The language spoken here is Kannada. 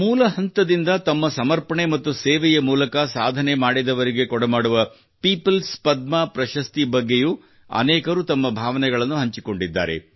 ಮೂಲ ಹಂತದಿಂದ ತಮ್ಮ ಸಮರ್ಪಣೆ ಮತ್ತು ಸೇವೆಯ ಮೂಲಕ ಸಾಧನೆ ಮಾಡಿದವರಿಗೆ ಕೊಡಮಾಡುವ ಪೀಪಲ್ಸ್ ಪದ್ಮ ಪ್ರಶಸ್ತಿ ಬಗ್ಗೆಯೂ ಅನೇಕರು ತಮ್ಮ ಭಾವನೆಗಳನ್ನು ಹಂಚಿಕೊಂಡಿದ್ದಾರೆ